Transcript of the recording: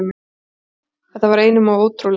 Þetta var einum of ótrúlegt.